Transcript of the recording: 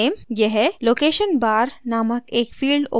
यह location bar नामक एक field opens करेगा